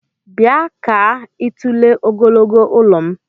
Bia kaa itule ogogologo ụlọm!!